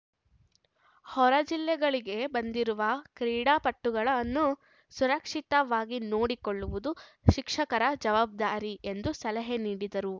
ಹೊರ ಜಿಲ್ಲೆಗಳಿಗೆ ಬಂದಿರುವ ಕ್ರೀಡಾಪಟುಗಳನ್ನು ಸುರಕ್ಷಿತವಾಗಿ ನೋಡಿಕೊಳ್ಳುವುದು ಶಿಕ್ಷಕರ ಜವಾಬ್ದಾರಿ ಎಂದು ಸಲಹೆ ನೀಡಿದರು